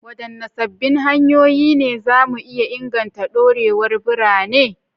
Wadanne sabbin hanyoyi ne za mu iya inganta dorewar birane?